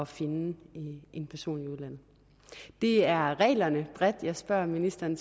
finde en person i udlandet det er reglerne bredt jeg spørger ministeren